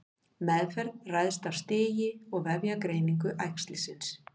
Meðferð ræðst af stigi og vefjagreiningu æxlisins.